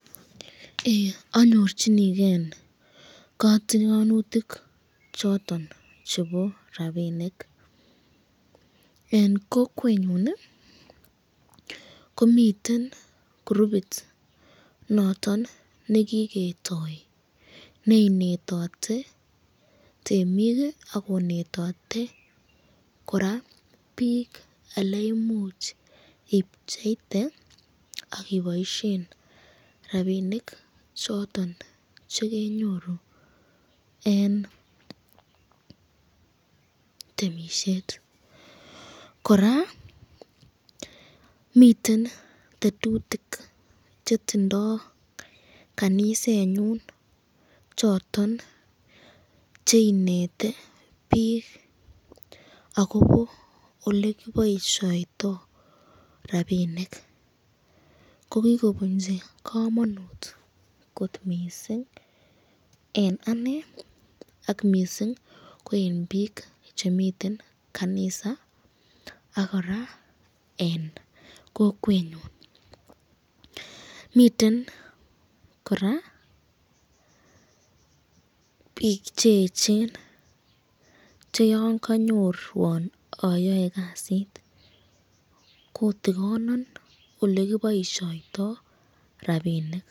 Ee anyorchinigen kotigonutik choton chebo rabinik, en kokwenyun komiten kurubit noton nekiketoi neinetote temik ii ak konetote biik aleimuch ibcheite ak iboisyen rabinik choton chekenyoru en temisiet, kora miten tetutik chetindo kanisenyun choton cheineti biik akobo olekiboisioto rabinik, kogogobunchi komonut kot missing en anee ak missing ko en biik chemiten kanisa ak kora en kokwenyun, miten kora biik cheechen che yon kanyorwon ayoe kasit kotigonon olekiboisyoto rabinik.